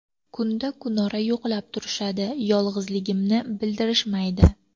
Kunda-kunora yo‘qlab turishadi, yolg‘izligimni bildirishmaydi.